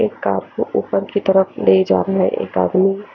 एक काप को ऊपर की तरफ ले जा रहा एक आदमी--